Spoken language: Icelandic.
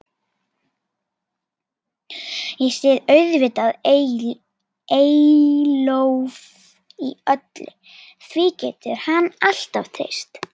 Ég styð auðvitað Eyjólf í öllu, því getur hann alltaf treyst.